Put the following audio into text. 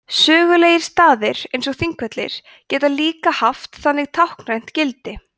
sögulegir staðir eins og þingvellir geta líka haft þannig táknrænt gildi